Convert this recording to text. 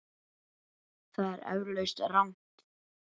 Það er eflaust rangt.